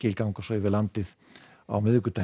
ganga svo yfir landið á miðvikudaginn